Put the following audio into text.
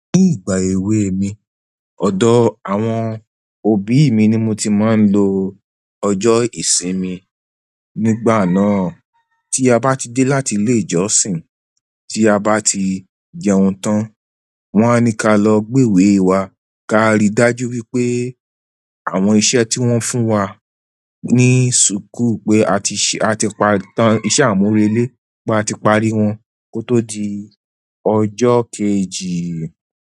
Ní ìgbà èwe mi, ọ̀dọ̀ àwọn òbí mi ni mo ti máa ń lo ọjọ́ ìsinmi. Nígbà náà, tí a bá ti dé láti ilé ìjọsìn, tí a bá ti jẹun tán, wọ́n á ní ká lọ gbe èwe wa ká rí dájú wípé àwọn iṣẹ́ tí wón fún wa ní ṣùkú pé a ti ṣe, a ti pa tán iṣẹ́ àmúrelé, pé a ti parí wọn kó tó di ọjọ́ kejì.